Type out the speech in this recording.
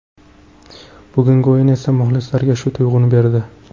Bugungi o‘yin esa muxlislarga shu tuyg‘uni berdi.